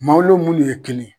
Maaw lo munnu ye kelen.